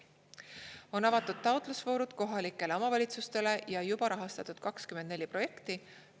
On avatud taotlusvoorud kohalikele omavalitsustele ja juba rahastatud 24 projekti.